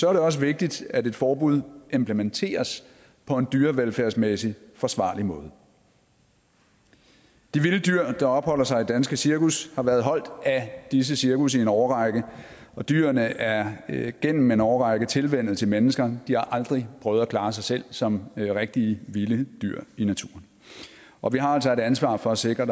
også vigtigt at et forbud implementeres på en dyrevelfærdsmæssigt forsvarlig måde de vilde dyr der opholder sig i danske cirkus har været holdt af disse cirkus i en årrække og dyrene er er gennem en årrække tilvænnet til mennesker de har aldrig prøvet at klare sig selv som rigtige vilde dyr i naturen og vi har altså et ansvar for at sikre